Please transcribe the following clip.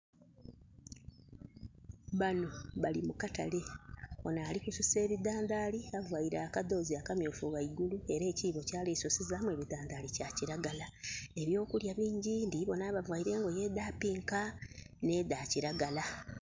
Bano bali mu katale. Ono Ali kususa ebidandhali avaire akadhoozi akamyufu ghaigulu era ekiibo kyali ku sukizamu ebidhandhali kya kilagala. Ebyo kulya bingi ndibona abavaire engoye edha pinka ne dha kilagala.